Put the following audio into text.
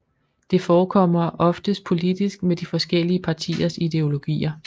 Det forekommer oftest politisk med de forskellige partiers ideologier